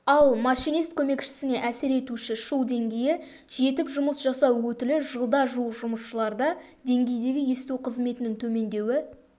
ал машинист көмекшісіне әсер етуші шу деңгейі жетіп жұмыс жасау өтілі жылда жуық жұмысшыларда деңгейдегі есту қызметінің төмендеуі